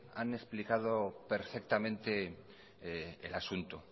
han explicado perfectamente el asunto